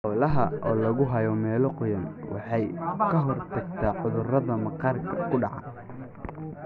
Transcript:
Xoolaha oo lagu hayo meelo qoyan waxay ka hortagtaa cudurrada maqaarka ku dhaca.